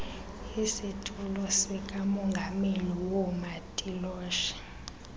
isitulo sikamongameli woomatiloshe